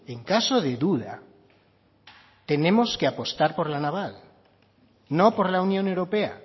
en caso de duda tenemos que apostar por la naval no por la unión europea